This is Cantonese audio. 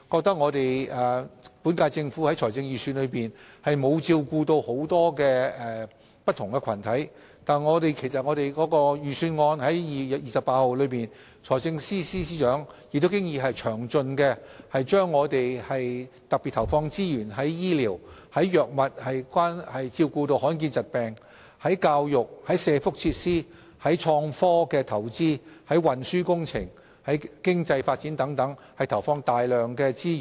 他們認為本屆政府在財政預算案中沒有照顧不同群體的意見，但其實在2月28日發表的財政預算案中，財政司司長已詳盡闡述政府會特別在醫療、治療罕見疾病的藥物、教育、社福設施、創科投資、運輸工程、經濟發展等方面投放大量資源。